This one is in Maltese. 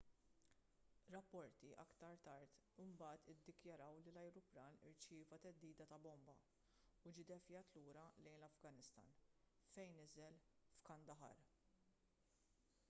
rapporti aktar tard imbagħad iddikjaraw li l-ajruplan irċieva theddida ta' bomba u ġie ddevjat lura lejn l-afganistan fejn niżel f'kandahar